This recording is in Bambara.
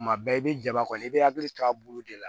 Kuma bɛɛ i bɛ jaba kɔni i bɛ hakili to a bolo de la